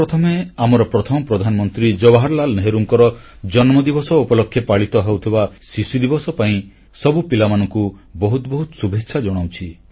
ସର୍ବପ୍ରଥମେ ଆମର ପ୍ରଥମ ପ୍ରଧାନମନ୍ତ୍ରୀ ଜବାହରଲାଲ ନେହେରୁଙ୍କର ଜନ୍ମଦିବସ ଉପଲକ୍ଷେ ପାଳିତ ହେଉଥିବା ଶିଶୁଦିବସ ପାଇଁ ସବୁ ପିଲାମାନଙ୍କୁ ବହୁତ ବହୁତ ଶୁଭେଚ୍ଛା ଜଣାଉଛି